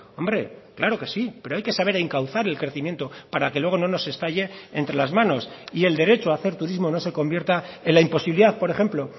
hombre claro que sí pero hay que saber encauzar el crecimiento para que luego no nos estalle entre las manos y el derecho a hacer turismo no se convierta en la imposibilidad por ejemplo